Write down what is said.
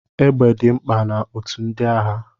Égbè dị mkpa na otù ndị agha.